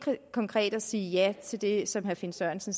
konkret og sige ja til det som herre finn sørensen